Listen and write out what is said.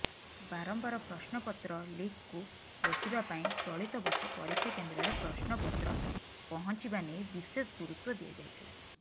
ବାରମ୍ବାର ପ୍ରଶ୍ନପତ୍ର ଲିକ୍କୁ ରୋକିବା ପାଇଁ ଚଳିତବର୍ଷ ପରୀକ୍ଷାକେନ୍ଦ୍ରରେ ପ୍ରଶ୍ନପତ୍ର ପହଞ୍ଚିବା ନେଇ ବିଶେଷ ଗୁରୁତ୍ୱ ଦିଆଯାଇଥିଲା